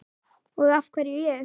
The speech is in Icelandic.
Og af hverju ég?